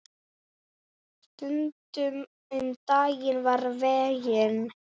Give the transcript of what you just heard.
Stundum um daginn og veginn.